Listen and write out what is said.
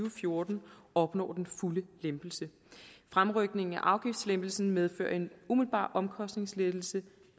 og fjorten opnår den fulde lempelse fremrykningen af afgiftslempelsen medfører en umiddelbar omkostningslettelse